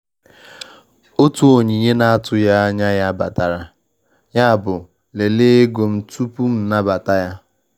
Otu onyinye na-atụghị anya ya batara, yabụ m lelee ego m tupu m anabata ya.